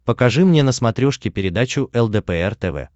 покажи мне на смотрешке передачу лдпр тв